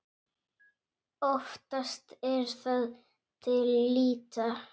Oftast er það til lýta.